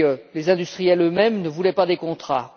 les industriels eux mêmes ne voulaient pas de contrats.